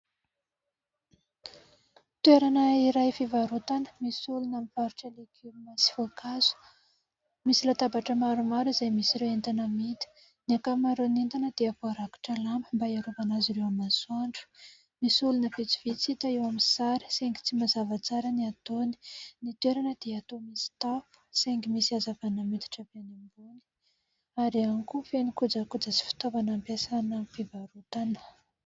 Toerana iray fivarotana, misy olona mivarotra legioma sy voankazo, misy latabatra maromaro izay misy ireo entana amidy. Ny ankamaroan'ny entana dia voarakotra lamba mba hiarovana azy ireo amin'ny masoandro. Misy olona vitsivitsy hita eo amin'ny sary, saingy tsy mazava tsara ny ataony. Ny toerana dia toa misy tafo, saingy misy hazavana miditra avy any ambony ary ihany koa, feno kojakoja sy fitaovana ampiasaina amin'ny fivarotana.